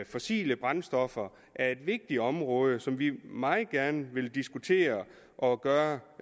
fossile brændstoffer er et vigtigt område som vi meget gerne vil diskutere og gøre